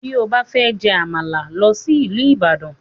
Bí ó bá fẹ́ jẹ Àmàlà, lọ sí ìlú Ibadan